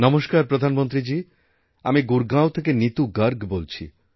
নমস্কার প্রধানমন্ত্রীজীআমি গুরগাঁও থেকে নীতু গর্গ বলছি